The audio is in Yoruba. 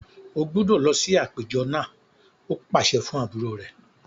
O gbúdọ̀ lọ sí àpéjọ náà! ó pàṣẹ fún àbúrò rẹ̀.